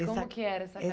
Eh essa... como que era essa